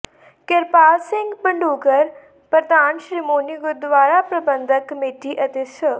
ਕਿਰਪਾਲ ਸਿੰਘ ਬਡੂੰਗਰ ਪ੍ਰਧਾਨ ਸ਼੍ਰੋਮਣੀ ਗੁਰਦੁਆਰਾ ਪ੍ਰਬੰਧਕ ਕਮੇਟੀ ਅਤੇ ਸ